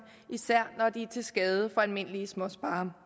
især når de er til skade for almindelige småsparere